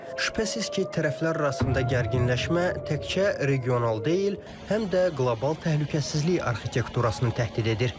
Şübhəsiz ki, tərəflər arasında gərginləşmə təkcə regional deyil, həm də qlobal təhlükəsizlik arxitekturasını təhdid edir.